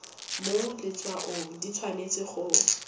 mo letshwaong di tshwanetse go